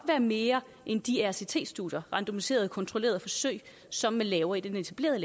være mere end de rct studier randomiserede kontrollerede forsøg som man laver i den etablerede